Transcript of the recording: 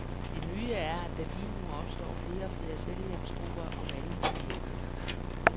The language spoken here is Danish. Det nye er, at der lige nu opstår flere og flere selvhjælpsgrupper om alle mulige emner.